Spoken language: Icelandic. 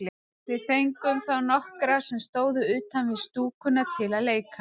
Við fengum þá nokkra sem stóðu utan við stúkuna til að leika.